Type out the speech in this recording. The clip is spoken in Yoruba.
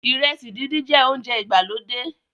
iresi dindin jẹ ounjẹ ìgbàlódé